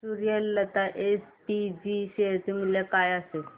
Suryalata SPG share चे मूल्य काय असेल